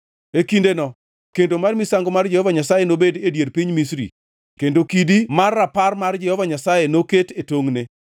E kindeno kendo mar misango mar Jehova Nyasaye nobedi e dier piny Misri kendo kidi mar rapar mar Jehova Nyasaye noket e tongʼne.